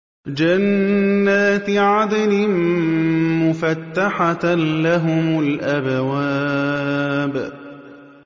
جَنَّاتِ عَدْنٍ مُّفَتَّحَةً لَّهُمُ الْأَبْوَابُ